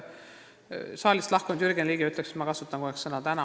Saalist lahkunud Jürgen Ligi ütleks, et ma kasutan kogu aeg sõna "täna".